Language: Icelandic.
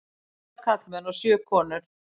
Átta karlmenn og sjö konur.